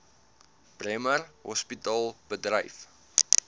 bremer hospitaal bedryf